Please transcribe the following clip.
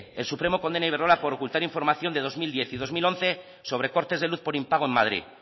el supremo condena a iberdrola por ocultar información de dos mil diez y dos mil once sobre cortes de luz por impago en madrid